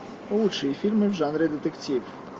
лучшие фильмы в жанре детектив